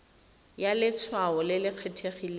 ya letshwao le le kgethegileng